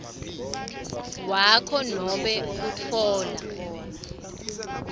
wakho nobe kutfola